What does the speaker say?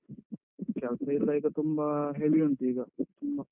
ಕೆಲ್ಸ ಎಲ್ಲ ಈಗ ತುಂಬ heavy ಉಂಟು ಈಗ ತುಂಬ.